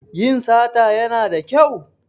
Yin sata Yana da kyau?